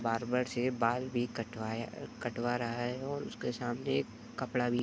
barber से माल भी कटवाए कटवा रहा है और उसके सामने एक कपड़े भी --